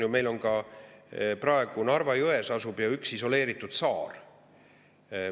Ja meil tegelikkuses on olukord, et Narva jões asub üks isoleeritud saar.